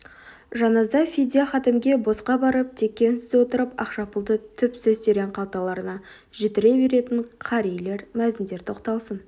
жаназа фидия хатімге босқа барып текке үнсіз отырып ақша пұлды түпсіз терең қалталарына жітіре беретін қарилер мәзіндер тоқталсын